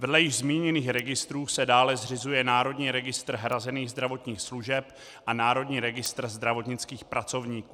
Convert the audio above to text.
Vedle již zmíněných registrů se dále zřizuje Národní registr hrazených zdravotních služeb a Národní registr zdravotnických pracovníků.